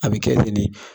A bɛ kɛ ten de